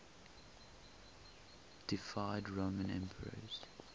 deified roman emperors